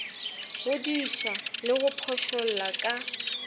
godiša le go phošolla ka